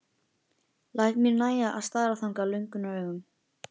Læt mér nægja að stara þangað löngunaraugum.